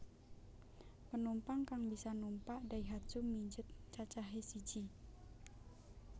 Penumpang kang bisa numpak Daihatsu Midget cacahé siji